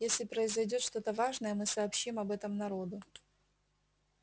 если произойдёт что-то важное мы сообщим об этом народу